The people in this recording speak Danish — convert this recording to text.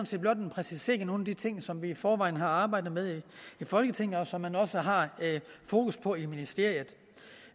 set blot en præcisering af nogle af de ting som vi i forvejen har arbejdet med i folketinget og som man også har fokus på i ministeriet